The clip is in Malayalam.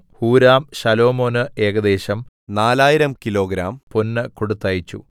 ഹൂരാം ശലോമോന് ഏകദേശം 4000 കിലോഗ്രാം പൊന്ന് കൊടുത്തയച്ചു